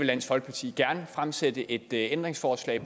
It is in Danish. dansk folkeparti gerne fremsætte et ændringsforslag